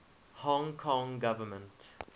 hong kong government